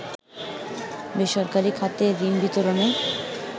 বেসরকারি খাতে ঋণ বিতরণে